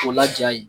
O laja yen